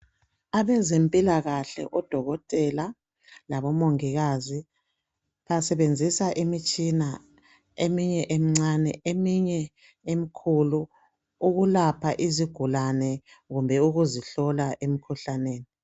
Abezempilakahle odokotela labomongikazi basebenzisa imithsina eminye emincane eminye emikhulu ukulapha izigulane kumbe ukuzihlola emikhuhlaneni